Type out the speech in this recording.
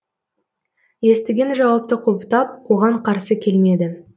естіген жауапты құптап оған қарсы келмеді